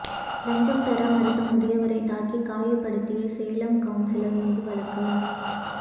லஞ்சம் தர மறுத்த முதியவரை தாக்கி காயப்படுத்திய சேலம் கவுன்சிலர் மீது வழக்கு